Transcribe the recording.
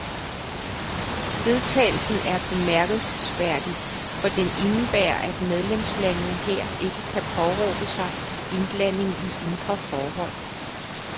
Vedtagelsen er bemærkelsesværdig, for den indebærer, at medlemslandene her ikke kan påberåbe sig indblanding i indre forhold.